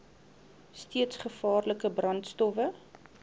steeds gevaarlike brandstowwe